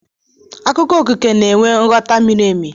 Akụkọ okike na-enwe nghọta miri emi